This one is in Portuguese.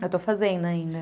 Eu estou fazendo ainda.